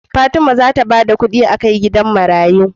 Fatima zata bada kidi akai gidan marayu